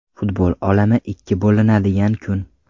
Futbol olami ikki bo‘linadigan kun.